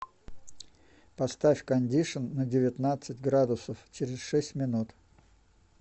поставь кондишн на девятнадцать градусов через шесть минут